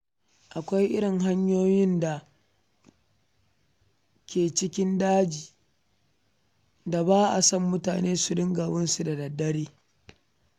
Akwai irin hanyoyin da ke cikin daji da ba a son mutane su riƙa bin su da dare.